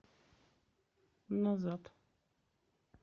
назад